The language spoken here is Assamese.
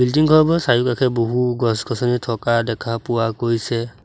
বিল্ডিং ঘৰবোৰৰ চাৰিওকাষে বহু গছ-গছনি থকা দেখা পোৱা গৈছে।